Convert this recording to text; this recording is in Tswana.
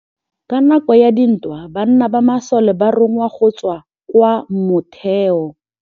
Ka nakô ya dintwa banna ba masole ba rongwa go tswa kwa mothêô.